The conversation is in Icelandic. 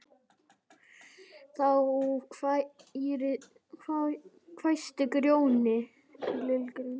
Þá hvæsti Grjóni: